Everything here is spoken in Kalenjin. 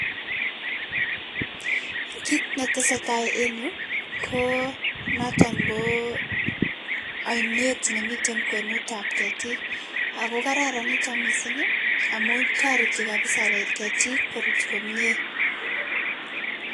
kit netesetai enn yuu Koo noton Koo ainet nemiten kwenutab ketik ako kararan niton kot mising ii amun toreti kabiza ketik korut komnyee.